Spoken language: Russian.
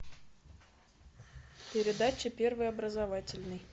передача первый образовательный